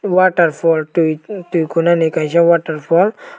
waterfall tui tuikonani kaisa waterfall.